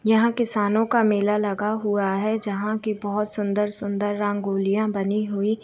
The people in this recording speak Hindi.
यहाँ किसानों का मेला लगा हुआ है जहाँ की बहुत सुंदर-सुंदर रंगोलियाँ बनी हुई --